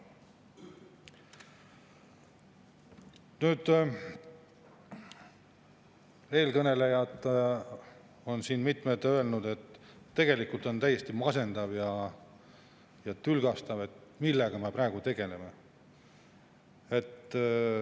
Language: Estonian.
Mitmed eelkõnelejad on siin öelnud, et on täiesti masendav ja tülgastav see, millega me praegu tegeleme.